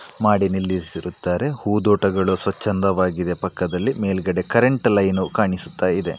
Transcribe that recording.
ಮಾಡಿ ನಿಲ್ಲಿಸಿರುತ್ತಾರೆ. ಹೂದೋಟಗಳು ಸ್ವಚ್ಛಂದವಾಗಿದೆ. ಪಕ್ಕದಲ್ಲಿ ಮೇಲ್ಗಡೆ ಕರೆಂಟ್ ಲೈನ್ ಉ ಕಾಣಿಸುತ್ತಾಯಿದೆ.